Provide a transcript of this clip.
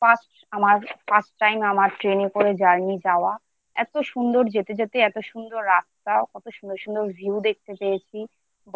First আমার First time আমার Train করে যান নি যাওয়া এত সুন্দর যেতে যেতে এত সুন্দর রাস্তা কত সুন্দর সুন্দর View দেখতে পেয়েছি